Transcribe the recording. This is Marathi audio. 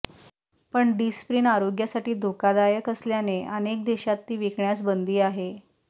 पण डिस्प्रिन आरोग्यासाठी धोकादायक असल्याने अनेक देशात ती विकण्यास बंदी आहे